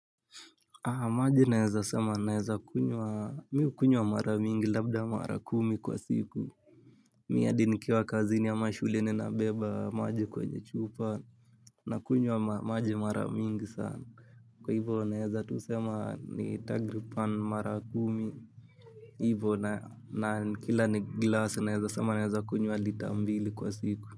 Maji naeza sema naeza kunywa miu kunywa maramingi labda mara kumi kwa siku. Miadi nikiwa kazi ni ya mashule ni na beba maji kwenye chupa na kunywa maji maramingi sana. Kwa hivyo naeza tusema ni tagripan mara kumi. Hivyo na kila ni glasi naeza sema naeza kunywa lita mbili kwa siku.